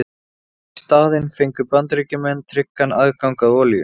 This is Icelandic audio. Í staðinn fengu Bandaríkjamenn tryggan aðgang að olíu.